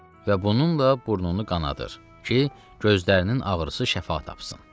Və bununla burnunu qanadır ki, gözlərinin ağrısı şəfa tapsın.